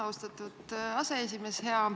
Austatud aseesimees!